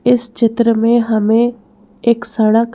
इस चित्र में हमें एक सड़क--